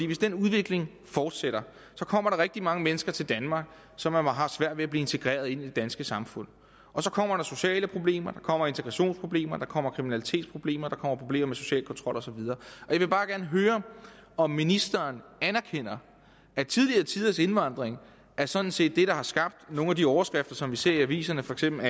hvis den udvikling fortsætter kommer der rigtig mange mennesker til danmark som har svært ved at blive integreret i det danske samfund så kommer der sociale problemer der kommer integrationsproblemer der kommer kriminalitetsproblemer der kommer problemer med social kontrol og så videre jeg vil bare gerne høre om ministeren anerkender at tidligere tiders indvandring sådan set er det der har skabt nogle af de overskrifter som vi ser i aviserne for eksempel